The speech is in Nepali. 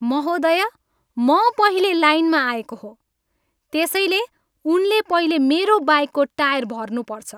महोदया, म पहिले लाइनमा आएको हो, त्यसैले उनले पहिले मेरो बाइकको टायर भर्नुपर्छ।